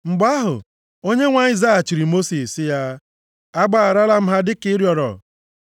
Mgbe ahụ, Onyenwe anyị zaghachiri Mosis sị ya, “Agbagharala m ha dịka ị rịọrọ.